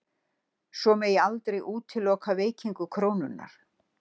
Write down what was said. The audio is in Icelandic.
Svo megi aldrei útiloka veikingu krónunnar